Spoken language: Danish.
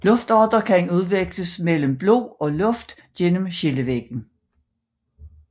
Luftarter kan udveksles mellem blod og luft gennem skillevæggen